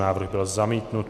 Návrh byl zamítnut.